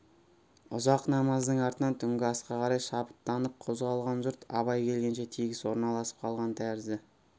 ұзақ намаздың артынан түнгі асқа қарай шабыттанып қозғалған жұрт абай келгенше тегіс орналасып қалған тәрізді